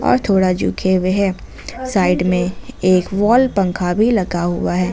और थोड़ा झुके हुए हैं साइड में एक वॉल पंखा भी लगा हुआ है।